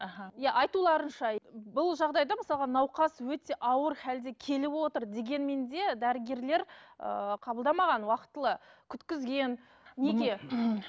аха не айтуларынша бұл жағдайда мысалға науқас өте ауыр халде келіп отыр дегенмен де дәрігерлер ыыы қабылдамаған уақытылы күткізген